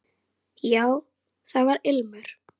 Já, það var ilmur!